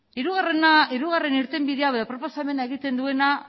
hirugarren irtenbidea edo proposamena egiten duena